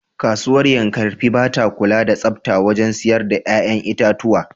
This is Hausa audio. Kasuwar Yankarfe ba ta kula da tsafta wajen siyar da ‘ƴa’ƴan itatuwa.